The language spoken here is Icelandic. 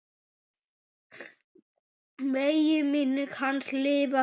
Megi minning hans lifa björt.